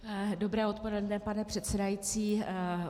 Dobré odpoledne, pane předsedající.